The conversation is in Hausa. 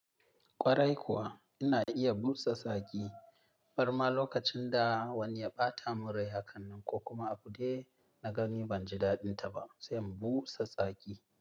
Ƙwarai kuwa ina iya busa tsaki. Marma lokacin da wani ya ɓata min rai haka ko kuma a buɗe na gani ban ji daɗinta ba, zan busa tsaki.